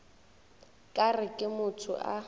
ka re ke motho a